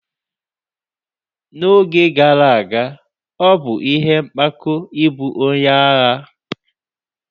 N'oge gara aga, ọ bụ ihe mpako ịbụ onye agha.